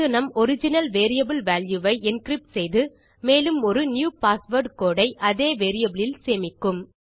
இது நம் original variable value ஐ என்கிரிப்ட் செய்து மேலும் ஒரு நியூ பாஸ்வேர்ட் கோடு ஐ அதே வேரியபிள் இல் சேமிக்கும்